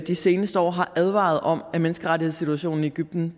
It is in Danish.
de seneste år har advaret om at menneskerettighedssituationen i egypten